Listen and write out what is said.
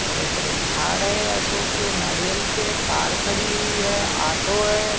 बड़े बड़े झाड़ है अशोक के नारियल के एक कार खड़ी हुई है ऑटो है।